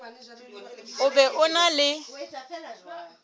o be o na le